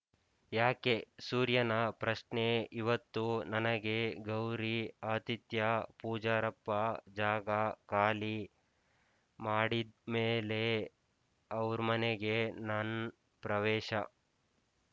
ಯಾಕೆಸೂರ್ಯನ ಪ್ರಶ್ನೆ ಇವತ್ತು ನನಗೆ ಗೌರಿ ಆತಿಥ್ಯ ಪೂಜಾರಪ್ಪ ಜಾಗ ಖಾಲಿ ಮಾಡಿದ್ ಮೇಲೇ ಅವ್ರ್‍ಮನೆಗೆ ನನ್ ಪ್ರವೇಶ